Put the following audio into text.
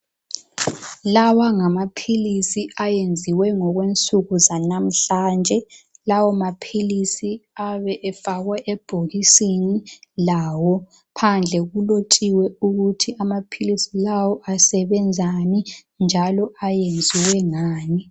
Lawa ngamaphilisi ayenziwe ngokwensuku zanamhlanje, lawo maphilisi ayabe efakwe ebhokisini lawo. Phandle kulotshiwe ukuthi amaphilisi lawo asebenzani njalo ayenziwe ngani.